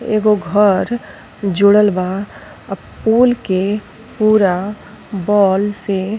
एगो घर जुड़रल बा आ पोल के पूरा बॉल से --